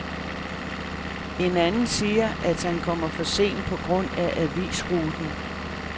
En anden siger, at han kommer for sent på grund af avisruten.